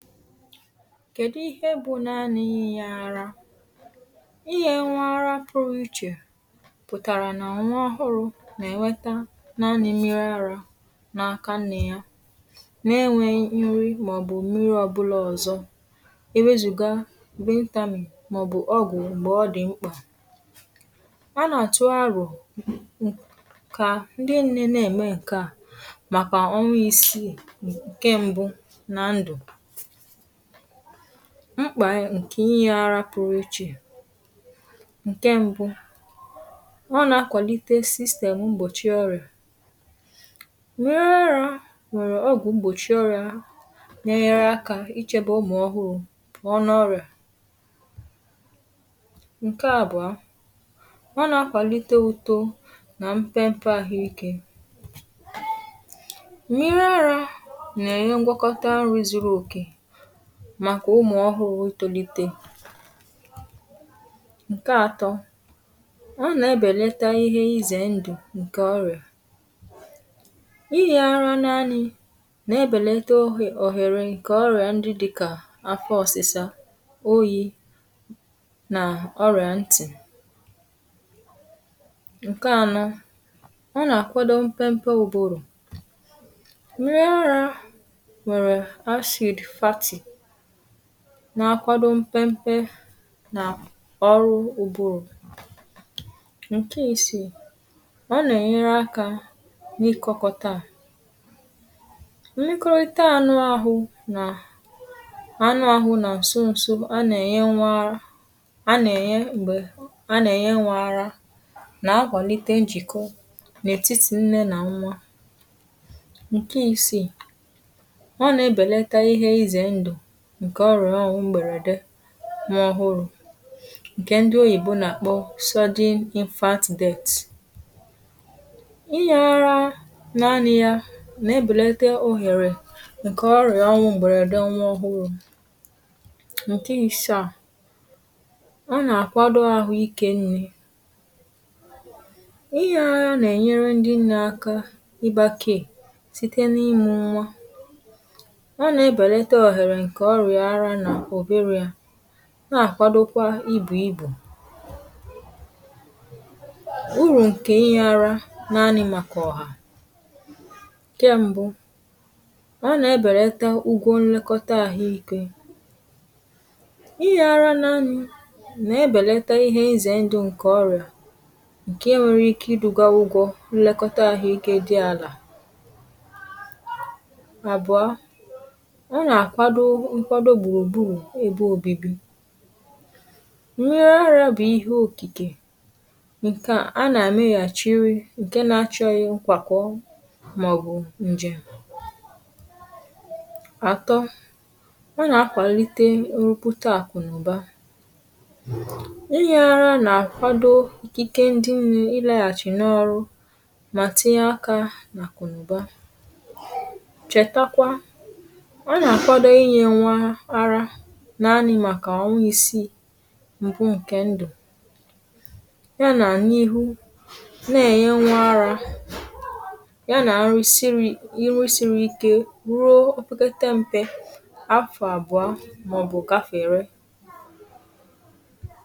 nkèdu ihe bụ̀ naanị ị yà arȧ, ihe nwara pụ̀rụ̀ ichè pụ̀tàrà nà nwa ọhụrụ̇ nà-ènweta naȧnị̇ mmiri arȧ nȧ-aka nne ya, n’enwėghi̇ nri màọ̀bụ̀ mmiri ọ̀bụlà ọ̀zọ, iwezùga bụ ntàmì màọ̀bụ̀ ọgụ̀ m̀gbè ọ dị̀ mkpà. a nà-àtụ arọ̀ kà ndị nne na-ème ǹke a, màkà onwe isi ǹke mbụ nà ndụ̀. mkpà ǹkè inyė arȧ pụrụ ichè ǹkè mbụ ọ nà-akwàlite system gbòchi ọrịà, nyere rahị nwèrè ọgụ̀ gbòchi ọrịà, (um)nyere akȧ ichėbė ụmụ̀ ọhụrụ̇ ọnụ̇ ọrịà. ǹke àbụ̀ọ, ọ nà-akwàlite utȯ nà mfe mfe àhụike, nyere rahị nà-ènye ngwọkọta nri zuru òkè màkà ụmụ̀ ọhụrụ̇ itȯlite. ǹkè atọ̇, ọ nà-ebèlata ihe izè ndụ̀ ǹkè ọrị̀à ihè arȧ naanị̇ nà-ebèlata ohè ohèrè ǹkè ọrị̀à ndị dị̀kà afọ ọ̀sịsa, oyi̇, nà ọrị̀à ntị̀. ǹkè anọ̇, ọ nà-àkwado mpempe ubụrụ̇, n’akwadò mpempe n’ọrụ̇ ubù. ǹkè isì, ọ nà-ènyere akȧ n’ikoko taa n’ikorote anụ ahụ̇ nà anụ ahụ̇ nà nsọ nsọ̇. a nà-ènye nwaara, um a nà-ènye m̀gbè a nà-ènye nwaara, nà-agwàlite njìkọ n’ètitì nne nà nwa. ǹkè isì ǹkè ọrụ̀ ọghụ̇ mbèrède nwa ọhụrụ̇, ǹkè ndi oyìbo nà-àkpọ soda imfat deti̇ inye ọrȧ naanị̇ ya nà-èbèlite ohèrè ǹkè ọrị̀ anwụ̇ m̀bèrède nwa ọhụrụ̇. ǹkè ị̀sàà, ọ nà-àkwado ahụ̀ ike nni̇. ihe a nà-ènyere ndi n’aka ịgbȧkè site n’imė ụma nà-àkwadokwa ibù ibù urù ǹkè inyė ara nàanị̇, màkà ọ̀hà. ǹkè mbụ, a nà-ebèrita ụgọ̇ nlekọta àhụ ikė; inyė ara nà nà-ebèlite ihe ǹzè ndụ ǹkè ọrị̀à, ǹkè nwere ike idu̇gȧ ụgọ̇ nlekọta àhụ ikė dị àlà òbibi ène. gharia bụ̀ ihe òkìkè ǹkè a nà-àmeghàchiri, ǹke na-achọ̇ ihe nkwàkwọ màọbụ̀ ǹjè àtọ. a nà-akwàlite ụrụpụ̀ta àkụ̀nụ̀ba, inye arȧ nà-àkwado ikike ndị mmiri ịlàghàchì n’ọrụ, mà tinye aka nà àkụ̀nụ̀ba. chètakwa,(um) naanị màkà ọnwụ isi mbụ ǹkè ndù ya, nà n’ihu, na-ènye nwa ara ya nà nri siri iri siri ike ruo ofukata mpe afọ àbụọ màọbụ̀ gafèrè.